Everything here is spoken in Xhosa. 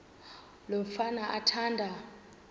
lo mfana athanda